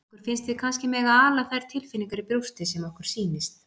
Okkur finnst við kannski mega ala þær tilfinningar í brjósti sem okkur sýnist.